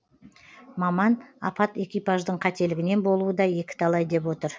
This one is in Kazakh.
маман апат экипаждың қателігінен болуы да екіталай деп отыр